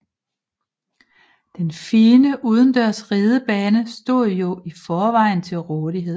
Den fine udendørs ridebane stod jo i forvejen til rådighed